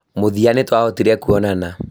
Mũthia nĩ twahotire kuonana